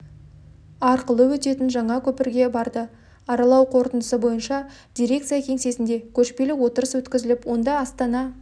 арқылы өтетін жаңа көпірге барды аралау қорытындысы бойынша дирекция кеңсесінде көшпелі отырыс өткізіліп онда астана